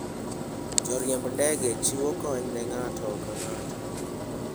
Joriemb ndege chiwo kony ne ng'ato ka ng'ato.